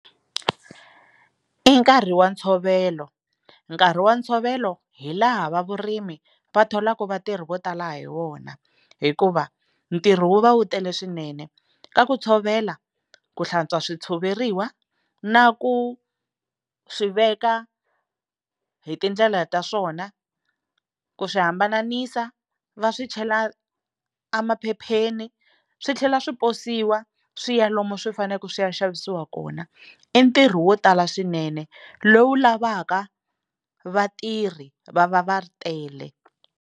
I nkarhi wa ntshovelo nkarhi wa ntshovelo hi laha va vurimi va tholaka vatirhi vo tala hi wona hikuva ntirho wu va wu tele swinene ka ku tshovela ku hlantswa switshoveriwa na ku swi veka hi tindlela ta swona ku swi hambanisa va swi chela emaphepheni swi tlhela swi posiwa swi ya lomu swi faneleke swi ya xavisiwa kona i ntirho wo tala swinene lowu lavaka vatirhi va va va tele.